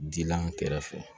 Dila n kɛrɛfɛ